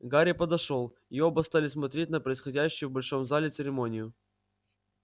гарри подошёл и оба стали смотреть на происходящую в большом зале церемонию